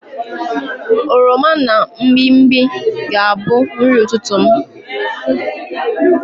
Oroma na mgbimgbi ga-abu nri ututu m